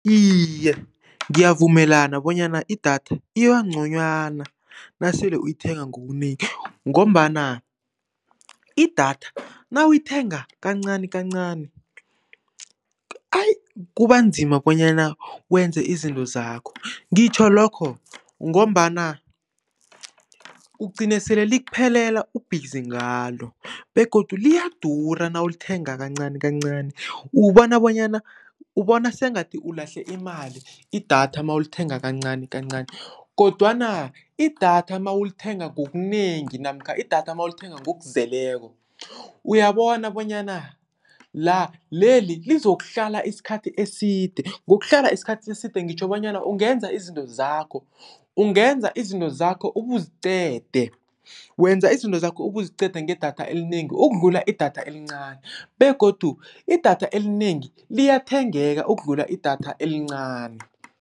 Iye, ngiyavumelana bonyana i-data iba nconywana nasele uyithenga ngobunengi ngombana i-data nawuyithenga kancanikancani, ayi kuba nzima bonyana wenze izinto zakho. Ngitjho lokho ngombana ugcine sele likuphelela u-busy ngalo begodu liyadura nawulithenga kancanikancani, ubona bonyana ubona sengathi ulahle imali i-data mawulithenga kancanikancani kodwana i-data mawulithenga ngobunengi namkha i-data mawulithenga ngokuzeleko uyabona bonyana la, leli lizokuhlala isikhathi eside. Ngokuhlala isikhathi eside ngitjho bonyana ungenza izinto zakho, ungenza izinto zakho ubuziqede, wenza izinto zakho ubuziqede nge-data elinengi, ukudlula i-data elincani begodu i-data elinengi liyathengeka, ukudlula i-data elincani.